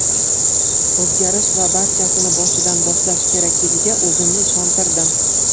O‘zgarish va barchasini boshidan boshlash kerakligiga o‘zimni ishontirdim”.